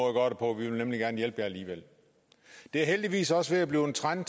at gøre det på vi vil nemlig gerne hjælpe jer alligevel det er heldigvis også ved at blive en trend